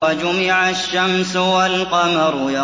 وَجُمِعَ الشَّمْسُ وَالْقَمَرُ